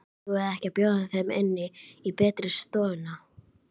Eigum við ekki að bjóða þeim inn í betri stofuna?